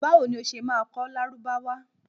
Báwo ni o ṣé máa kọ́ Lárúbáwá?